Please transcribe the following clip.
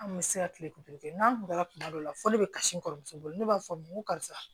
An kun bɛ se ka kile kuntigɛ kɛ n'an kun taara kuma dɔ la fɔ ne be kasi kɔrɔmuso bolo ne b'a fɔ n ma n ko karisa